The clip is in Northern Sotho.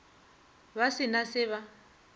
ba se na se ba